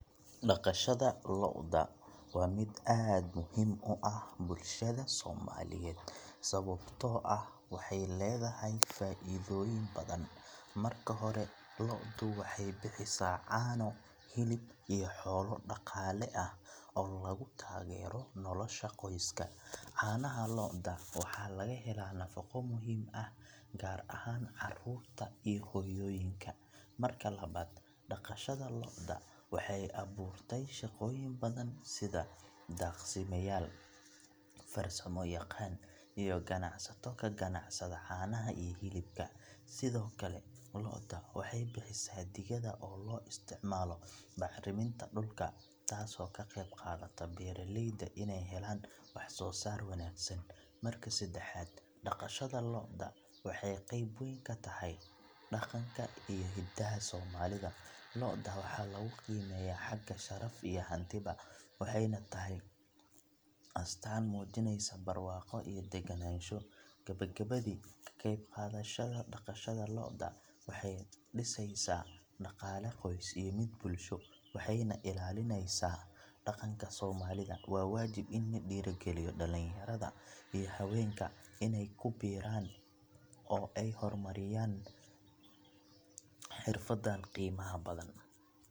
Dashada loo'da waa mid muhim aad uah bulsha somaliyed sababto ah waxay ledahay faidoyin badhan marki hore loo'du waxay bixisa caano, hilib iyo xoloo daqale ah lagutagero nolosha qoyska, canaha loo'da waxa lagahela nafaqo muhim ah gar aahan carurta iyo hoyoyinka marka labad daqashada loo'da waxay aburtey shaqoyin badhan, sidhaa daqsiyadal farsamo yaqan iyo ganacsato kagacsadan canaha iyo hilika sidiokale loo'da waxay bixisa digada oo loo istacmalo bacriminta dulka tasi oo kaqebqadata beraleyda inay helan wax sosar wanagsan, marka sedexad daqashada loo'da waxay qeyb weyn katahay daqanka iyo hidaha somalida, loo'da waxa lagu qimeyaah haga sharafta iyo hantibaa, waxay nah tahay astan mujineysa burwaqo iyo deganansho gabagabadi kaqeb qadashada loo'da waxay diseysa daqala qoys iyo mid bulsho, waxay nah ilalineysa daqanka somalida waa wajib ini ladiri galiyo dalinyarada iyo hawenka inay kubiran oo ay hormariyan xirfadan qimaha badan.